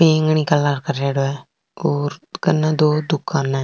बैंगनी कलर करेडो है और कन दो दुकाना है।